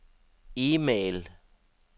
e-mail